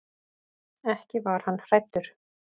Ekki var hann hræddur.